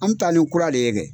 An m taa ni kura le ye kɛ.